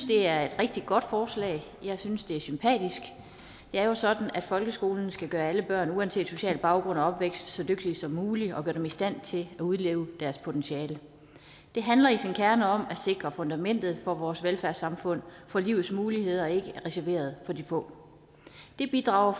det er et rigtig godt forslag jeg synes at det er sympatisk det er jo sådan at folkeskolen skal gøre alle børn uanset social baggrund og opvækst så dygtige som muligt og gøre dem i stand til at udleve deres potentiale det handler i sin kerne om at sikre fundamentet for vores velfærdssamfund for livets muligheder er ikke reserveret for de få det bidrager